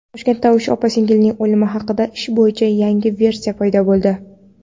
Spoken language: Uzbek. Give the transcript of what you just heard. Toshkentda uch opa-singilning o‘limi haqidagi ish bo‘yicha yangi versiya paydo bo‘ldi.